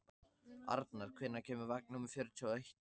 Arnar, hvenær kemur vagn númer fjörutíu og eitt?